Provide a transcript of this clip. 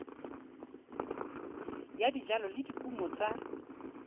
ya dijalo le dikumo tsa